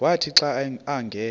wathi xa angena